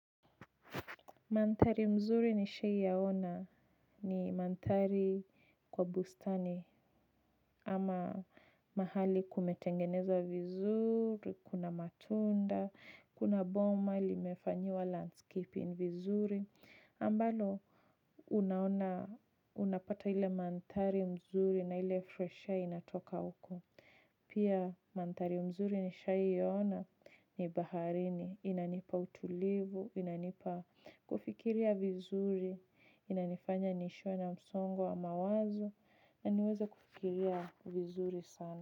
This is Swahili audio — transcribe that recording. Mandhari mzuri nishaiyaona ni manthari kwa bustani ama mahali kumetengenezwa vizuri, kuna matunda, kuna boma limefanyiwa landscaping vizuri. Ambalo unaona unapata ile manthari mzuri na ile fresh air inatoka huko. Pia mantari mzuri nishaiona ni baharini. Inanipa utulivu, inanipa kufikiria vizuri, inanifanya niishiwe na msongo wa mawazo na niweze kufikiria vizuri sana.